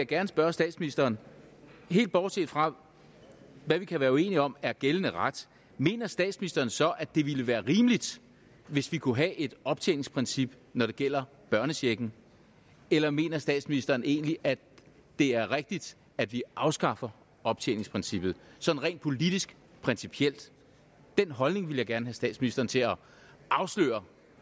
gerne spørge statsministeren helt bortset fra hvad vi kan være uenige om er gældende ret mener statsministeren så at det ville være rimeligt hvis vi kunne have et optjeningsprincip når det gælder børnechecken eller mener statsministeren egentlig at det er rigtigt at vi afskaffer optjeningsprincippet sådan rent politisk principielt den holdning ville jeg gerne have statsministeren til at afsløre